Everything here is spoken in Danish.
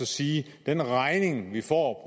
sige at den regning vi får